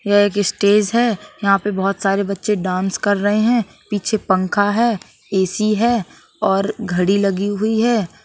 यह एक स्टेज है। यहां पे बहोत सारे बच्चे डांस कर रहे हैं पीछे पंखा है ए_सी है और घड़ी लगी हुई है।